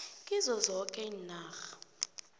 kizo zoke iinarha